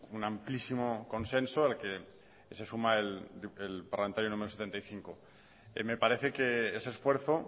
un amplísimo consenso el que se suma el parlamentario número setenta y cinco me parece que ese esfuerzo